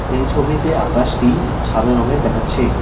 এই ছবিতে আকাশটি সাদা রঙের দেখাচ্ছে।